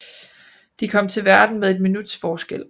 De kom til verden med et minuts forskel